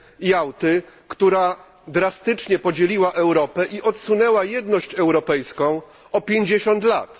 Jałty, która drastycznie podzieliła Europę i odsunęła jedność europejską o 50 lat.